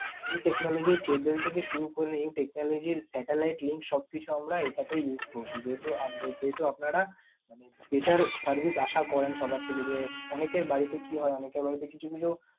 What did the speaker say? new technology cable থেকে শুরু করে এই technology র satellite link সবকিছু আমরা এটাতে use করেছি। যেহেতু আপনারা মানে better service আশা করেন সবার থেকে যে, অনেকের বাড়িতে কি হয় অনেকের বাড়িতে কিছু কিছু